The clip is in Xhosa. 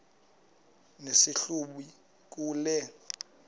nesi hlubi kule